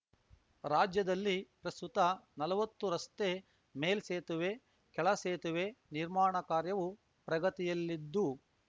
ರಾಜ್ಯದಲ್ಲಿ ಪ್ರಸ್ತುತ ನಲವತ್ತು ರಸ್ತೆ ಮೇಲ್ಸೇತುವೆ ಕೆಳ ಸೇತುವೆ ನಿರ್ಮಾಣ ಕಾರ್ಯವೂ ಪ್ರಗತಿಯಲ್ಲಿದ್ದು